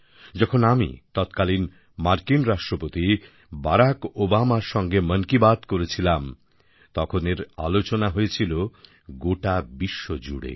যখন আমি তৎকালীন মার্কিন রাষ্ট্রপতি বারাক ওবামার সঙ্গে মন কি বাত করেছিলাম তখন এর আলোচনা হয়েছিল গোটা বিশ্ব জুড়ে